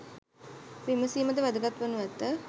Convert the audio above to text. විමසීමද වැදගත් වනු ඇත.